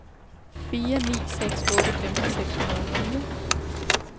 fire ni seks otte femten seks hundrede og fire